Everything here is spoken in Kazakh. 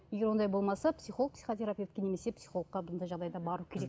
егер ондай болмаса психолог психотерапевтке немесе психологқа мұндай жағдайда бару керек